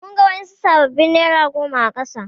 Mun ga wadansu sabbabin nera goma a kasa.